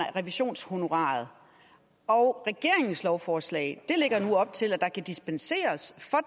revisionshonoraret og regeringens lovforslag lægger nu op til at der kan dispenseres